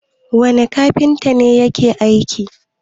wane kafinta ne ya ke aikin?